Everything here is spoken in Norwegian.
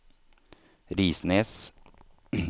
Risnes